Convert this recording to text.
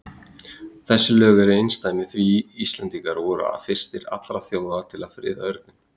Þessi lög voru einsdæmi því Íslendingar voru fyrstir allra þjóða til að friða örninn.